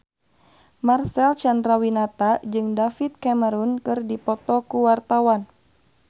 Marcel Chandrawinata jeung David Cameron keur dipoto ku wartawan